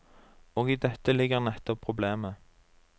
Og i dette ligger nettopp problemet.